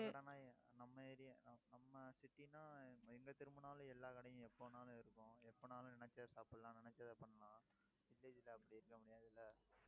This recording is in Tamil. நம்ம area நம்ம~நம்ம city ன்னா எங்க திரும்பினாலும், எல்லா கடையும் எப்ப வேணாலும் இருக்கும். எப்பனாலும் நினைச்சா சாப்பிடலாம். நினைச்சதை பண்ணலாம். village ல அப்படி இருக்க முடியாது. இல்ல